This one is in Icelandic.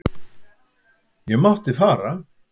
Ég mátti fara.